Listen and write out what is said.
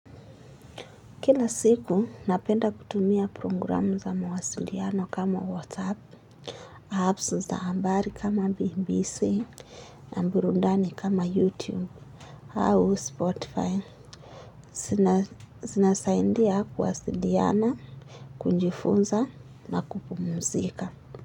Kila siku, napenda kutumia programu za mawasiliano kama WhatsApp, apps za habari kama BBC, na mburundani kama YouTube, au Spotify. Zinasaidia kuwasiliana, kujifunza na kupumzika.